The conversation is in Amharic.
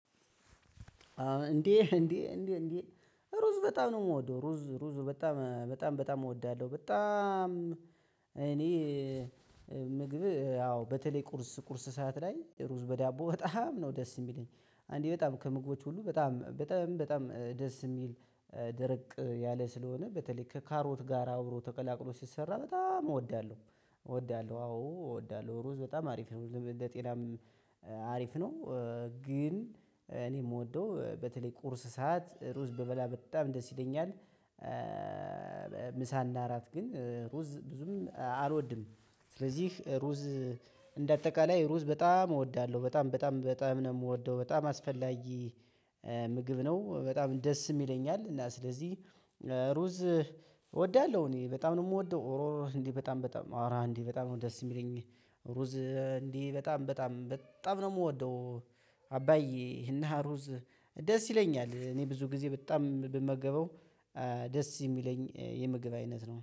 እንዴ እንዴ እንዴ ሩዝ በጣም ነው የምወደው ሩዝ ሩዝ በጣም በጣም በጣም እወዳለሁ በጣም። እኔ ምግብ ያው በተለይ ቁርስ ቁርስ ሰዓት ላይ ሩዝ በዳቦ በጣም ነው ደስ የሚለኝ አንዴ በጣም ከምግቦች ሁሉ በጣም በጣም በጣም ደስ የሚል ደረቅ ያለ ስለሆነ በተለይ ከካሮት ጋር አብሮ ተቀላቅሎ ሲሰራ በጣም እወዳለሁ። እወዳለሁ አዎ እወዳለሁ ሩዝ በጣም አሪፍ ነው እንደ ጤናም አሪፍ ነው። ግን እኔ የምወደው በተለይ ቁርስ ሰዓት ሩዝ ብበላ በጣም ደስ ይለኛል። ምሳና እራት ግን ሩዝ ብዙም አልወድም። ስለዚህ ሩዝ እንደ አጠቃላይ ሩዝ በጣም እወዳለሁ በጣም በጣም በጣም ነው የምወደው በጣም አስፈላጊ ምግብ ነው። በጣም ደስም ይለኛል እና ስለዚህ ሩዝ እወዳለሁ እኔ በጣም ነው የምወደው እሩዝ እንዴ በጣም በጣም አራ እንዴ በጣም ነው ደስ የሚለኝ ሩዝ እንዲህ በጣም በጣም በጣም ነው የምወደው። አባዬ እና ሩዝ ደስ ይለኛል እኔ ብዙ ጊዜ በጣም ብመገበው ደስ የሚለኝ የምግብ አይነት ነው